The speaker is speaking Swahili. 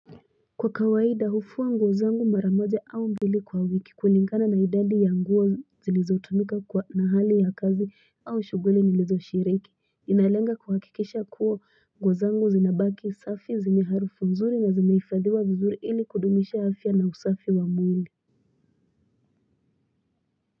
Kwa kawaida hufua nguozangu maramoja aumbili kwa wiki, kulingana naidadi ya nguo zilizo tumika kwa mahali ya kazi au shughuli nilizo shiriki. Inalenga kuhakikesha kuwa nguozangu zinabaki safi ziniharufu nzuri na zimeifadhiwa vizuri ili kudumisha afya na usafi wa mwili.